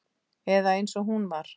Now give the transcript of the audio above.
Eða eins og hún var.